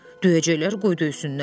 Döyəcəklər qoy döysünlər.